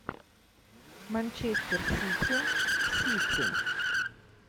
манчестер сити сити